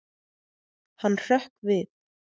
Hann hrökk við.